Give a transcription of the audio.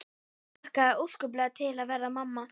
Hlakkaði óskaplega til að verða mamma.